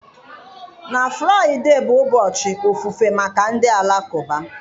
Na Fraịdee bụ ụbọchị ofufe maka ndị Alakụba.